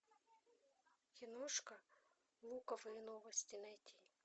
киношка луковые новости найти